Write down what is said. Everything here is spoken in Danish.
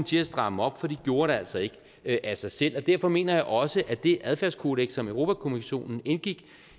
til at stramme op for de gjorde det altså ikke af sig selv derfor mener jeg også at det adfærdskodeks som europa kommissionen indgik